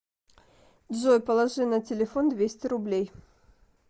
джой положи на телефон двести рублей